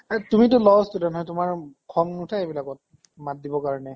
তুমিটো law student হয়, তোমাৰ খং নুঠে এইবিলাকত? মাত দিবৰ কাৰণে?